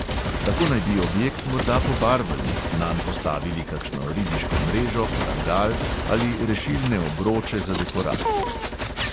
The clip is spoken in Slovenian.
Tako naj bi objekt morda pobarvali, nanj postavili kakšno ribiško mrežo, parangal ali rešilne obroče za dekoracijo.